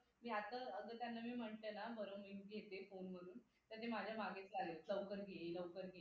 मी आत्ता अग त्यांना मी म्हटलं ना बरं मी घेते phone म्हणून त्यांनी माझ्या मागेच लागलेत लवकर घे लवकर घे लवकर घे मग आम्ही